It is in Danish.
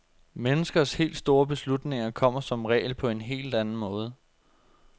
Menneskers helt store beslutninger kommer som regel på en helt anden måde.